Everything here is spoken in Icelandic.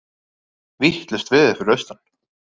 Vitlaust veður fyrir austan